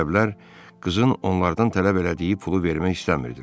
Ərəblər qızın onlardan tələb elədiyi pulu vermək istəmirdilər.